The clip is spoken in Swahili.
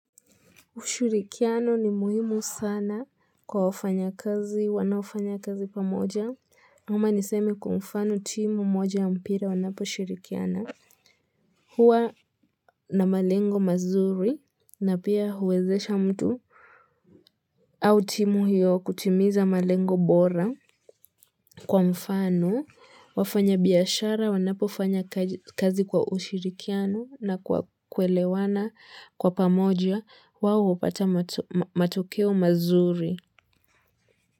Ushirikiano ni muhimu sana kwa wafanyakazi wanaofanya kazi pamoja. Ama nisemi kwa mfano timu moja ya mpira wanaposhirikiana. Huwa na malengo mazuri na pia huwezesha mtu. Au timu hiyo kutimiza malengo bora kwa mfano. Wafanyabiashara, wanapofanya kazi kwa ushirikiano na kuelewana kwa pamoja, wao hupata matokeo mazuri.